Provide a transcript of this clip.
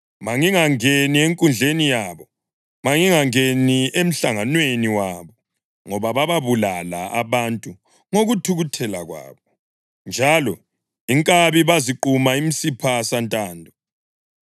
Mangingangeni enkundleni yabo, mangingangeni emhlanganweni wabo, ngoba bababulala abantu ngokuthukuthela kwabo njalo inkabi baziquma imisipha santando.